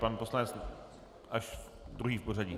Pan poslanec až druhý v pořadí.